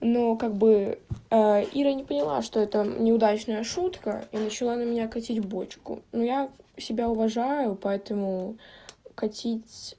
ну как бы ира не поняла что это неудачная шутка и начала на меня катить бочку но я себя уважаю поэтому катить